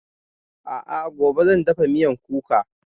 A'a gobe zan dafa miyan kuka